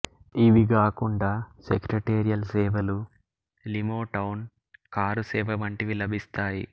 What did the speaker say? ఇవి గాకుండా సెక్రటేరియల్ సేవలు లిమోటౌన్ కారు సేవ వంటివి లభిస్తాయి